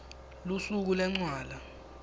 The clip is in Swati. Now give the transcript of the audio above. lusuku lwencwala